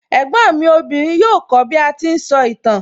Ẹ̀gbọ́n mi obìnrin yóò kó bí a ti ń sọ ìtàn